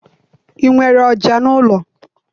I nwere ọja n'ụlọ?